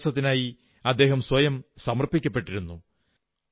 വിദ്യാഭ്യാസത്തിനായി അദ്ദേഹം സ്വയം സമർപ്പിക്കപ്പെട്ടിരുന്നു